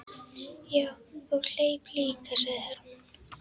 Já, og hleyp líka, sagði Hermann.